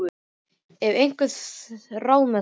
Ég hef einhver ráð með það.